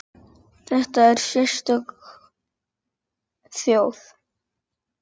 Nema þá ástin.